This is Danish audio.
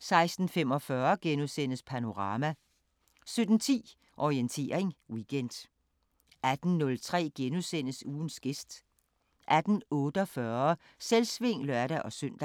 16:45: Panorama * 17:10: Orientering Weekend 18:03: Ugens gæst * 18:48: Selvsving (lør-søn)